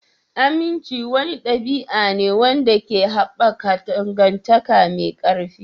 Aminci wani ɗabi'a ne wanda ke haɓaka dangantaka mai ƙarfi.